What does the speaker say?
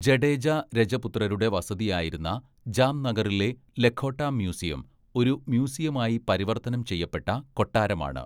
ജഡേജ രജപുത്രരുടെ വസതിയായിരുന്ന ജാംനഗറിലെ ലഖോട്ട മ്യൂസിയം ഒരു മ്യൂസിയമായി പരിവർത്തനം ചെയ്യപ്പെട്ട കൊട്ടാരമാണ്.